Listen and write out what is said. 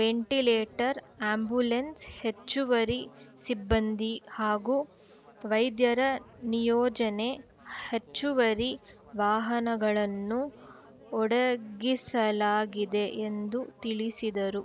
ventilator ambulance ಹೆಚ್ಚುವರಿ ಸಿಬ್ಬಂದಿ ಹಾಗೂ ವೈದ್ಯರ ನಿಯೋಜನೆ ಹೆಚ್ಚುವರಿ ವಾಹನಗಳನ್ನು ಒಡಗಿಸಲಾಗಿದೆ ಎಂದು ತಿಳಿಸಿದರು